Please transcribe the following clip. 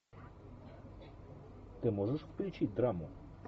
ты можешь включить драму